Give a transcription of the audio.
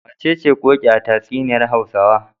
Wacece Ƙoƙi a tatsuniyar Hausawa?